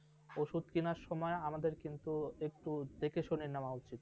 ওষুধ কেনার সময় আমাদের কিন্তু একটু দেখে শুনে নেওয়া উচিত ।